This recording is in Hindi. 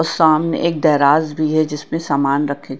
सामने एक गैराज भी है जिसमें सामान रखें--